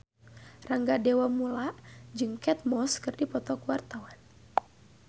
Rangga Dewamoela jeung Kate Moss keur dipoto ku wartawan